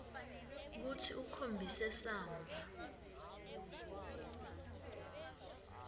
kutsi ukhombise samba